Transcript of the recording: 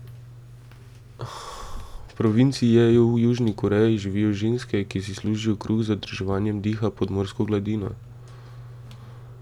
V provinci Jeju v Južni Koreji živijo ženske, ki si služijo kruh z zadrževanjem diha pod morsko gladino.